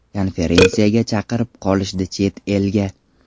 Konferensiyaga chaqirib qolishdi chet elga.